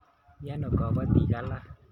Miano kapatik alak e?